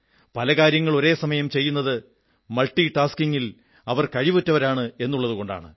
പല കാര്യങ്ങൾ ഒരേ സമയം ചെയ്യുന്നത് മൾട്ടി ടാസ്കിംഗിൽ അവർ കഴിവുറ്റവരാണെന്നതുകൊണ്ടാണ്